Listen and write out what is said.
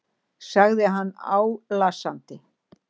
sagði hann álasandi.